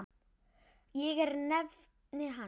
Ég er nafni hans.